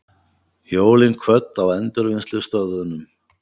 Jólin kvödd á endurvinnslustöðvunum